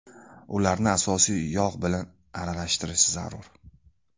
Ularni asosiy yog‘ bilan aralashtirish zarur.